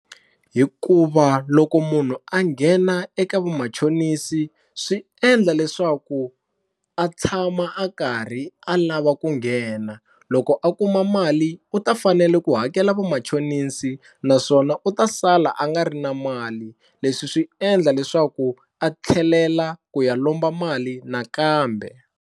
Hikuva loko munhu a nghena eka vamachonisi swi endla leswaku a tshama a karhi a lava ku nghena loko a kuma mali u ta fanele ku hakela vamachonisi naswona u ta sala a nga ri na mali leswi swi endla leswaku a tlhelela ku ya lomba mali nakambe.